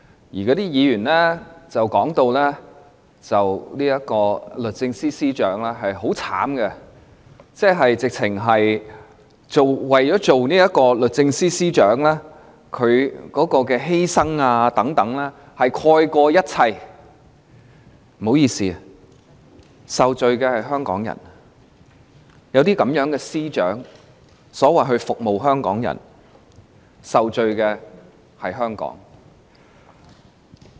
那些議員提到律政司司長很可憐，說得好像她擔任律政司司長的犧牲蓋過了一切，但不好意思，有這種司長所謂"服務"香港人，受罪的就是香港。